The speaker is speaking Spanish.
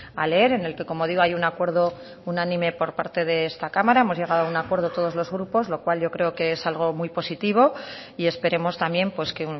a leer en el que como digo hay un acuerdo unánime por parte de esta cámara hemos llegado a un acuerdo todos los grupos lo cual yo creo que es algo muy positivo y esperemos también que